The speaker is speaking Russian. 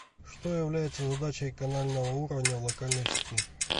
что является задачей канального уровня в локальной сети